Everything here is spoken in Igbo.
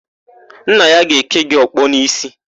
Nna ya ga-èké ya ọkpọ n'ísí.